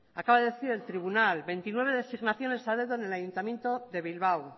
acaba de decir el tribunal veintinueve designaciones ha dado en el ayuntamiento de bilbao